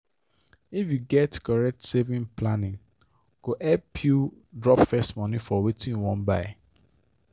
if you get correct saving plane go help you drop first money for wetin you wan buy.